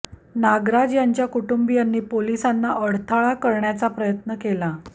नागराज यांच्या कुटुंबियांनी पोलिसांना अडथळा करण्याचा प्रयत्न केला